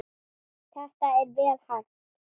Þetta er vel hægt.